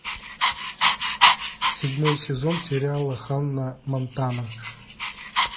седьмой сезон сериала ханна монтана